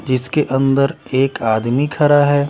जिसके अंदर एक आदमी खड़ा हैं।